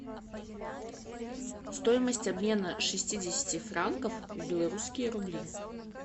стоимость обмена шестидесяти франков в белорусские рубли